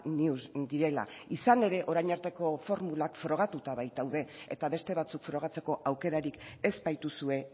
news direla izan ere orain arteko formulak frogatuta bait daude eta beste batzuk frogatzeko aukerarik ez baituzue